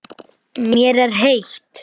Mér er heitt.